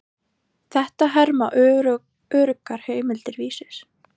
Þetta herma öruggar heimildir Vísis.